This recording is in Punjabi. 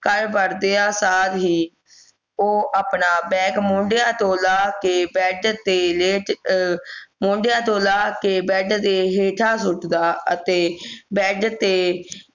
ਘਰ ਵੜਦਿਆਂ ਸਰ ਹੀ ਉਹ ਆਪਣਾ bag ਮੋਢੇ ਤੋਂ ਲਾਹ ਕੇ bed ਤੇ ਲੇਟ ਅਹ ਮੋਢਿਆਂ ਤੋਂ ਲਾਹ ਕੇ bed ਦੇ ਹੇਠਾਂ ਛੋਟ ਦਾ ਅਤੇ bed ਦੇ